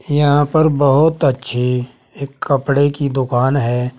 यहां पर बहुत अच्छी एक कपड़े की दुकान है।